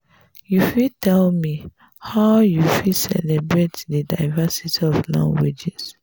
you fit tell me how you fit celebrate di diversity of languages?